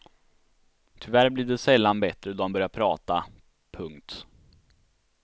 Tyvärr blev det sällan bättre då han började prata. punkt